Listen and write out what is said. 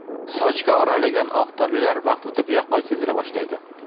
Sochga oralagan oq tolalar vaqt o‘tib yaqqol sezila boshlaydi.